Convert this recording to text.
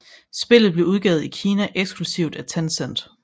Spillet blev udgivet i Kina eksklusivt af Tencent